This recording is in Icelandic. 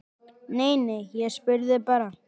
Nei, nei, ég spurði bara